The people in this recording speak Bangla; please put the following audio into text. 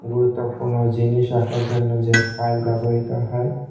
গুরুত্বপূর্ণ জিনিস রাখার জন্য যে ফাইল ব্যবহৃত হয়--